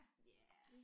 Ja